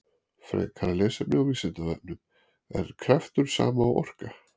Frekara lesefni á Vísindavefnum: Er kraftur sama og orka?